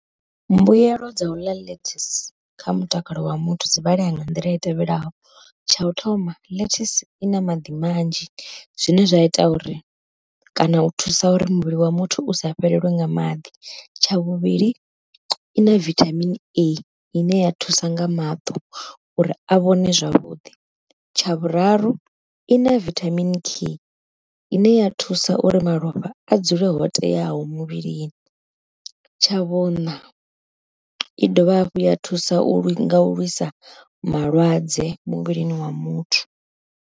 Mbuyelo dza uḽa ḽethasi kha mutakalo wa muthu dzi vhalea nga nḓila i tevhelaho, tsha u thoma ḽethasi i na maḓi manzhi, zwine zwa ita uri kana u thusa uri muvhili wa muthu u sa fhelelwe nga maḓi, tsha vhuvhili i na vithamini A ine ya thusa nga maṱo uri a vhone zwavhuḓi, tsha vhuraru i na vithamini K i ne ya thusa uri malofha a dzule ho teaho muvhilini, tsha vhuṋa i dovha hafhu ya thusa nga u lwisa malwadze muvhilini wa muthu.